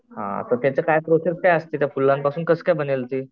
हां हां पण त्याची काय प्रोसेस काय असते फुलांपासून कस काय बनेल ती?